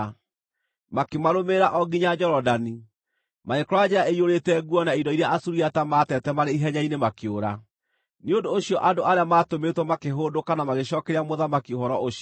Makĩmarũmĩrĩra o nginya Jorodani, magĩkora njĩra ĩiyũrĩte nguo na indo iria Asuriata maatete marĩ ihenya-inĩ makĩũra. Nĩ ũndũ ũcio andũ arĩa maatũmĩtwo makĩhũndũka na magĩcookeria mũthamaki ũhoro ũcio.